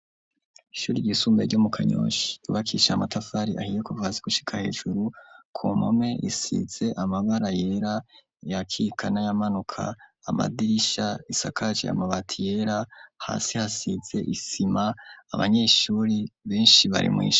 Ishuri ryisumbaye ryo mu kanyonshi yubakisha amatafari ahiye kuvasi gushika hejuru kumome isize amabara yera yakikana yamanuka amadirisha isakaje yamabati yera hasi hasize isima abanyeshuri benshi barimwisha.